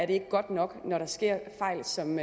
det ikke godt nok når der sker fejl som